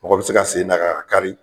Mɔgɔ bɛ se ka sen d'a kan k'a kari.